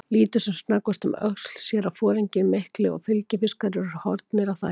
Lítur sem snöggvast um öxl, sér að foringinn mikli og fylgifiskarnir eru horfnir af þakinu.